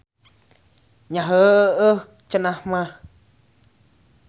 Nya heuheuh cenah mah.